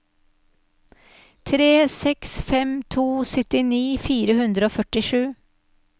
tre seks fem to syttini fire hundre og førtisju